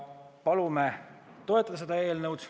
Palume seda eelnõu toetada.